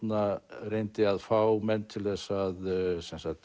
reyndi að fá menn til að